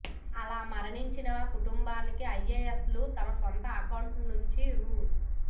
అలా మరణించిన కుటుంబానికి ఐఏఎస్లు తమ సొంత అకౌంట్ నుంచి రూ